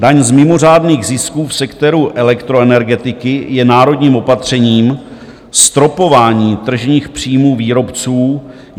Daň z mimořádných zisků v sektoru elektroenergetiky je národním opatřením stropování tržních příjmů výrobců.